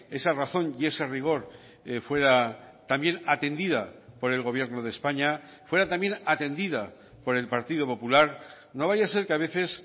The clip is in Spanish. esa razón y ese rigor fuera también atendida por el gobierno de españa fuera también atendida por el partido popular no vaya a ser que a veces